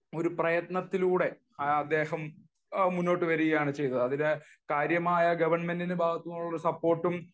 പ്രയത്നത്തിലൂടെ അദ്ദേഹം മുന്നോട്ടു വരികയാണ് ചെയ്തത് . അതിൽ കാര്യമായ ഗവൺമെന്റിന്റെ ഭാഗത്തുനിന്നുള്ള സപ്പോർട്ടും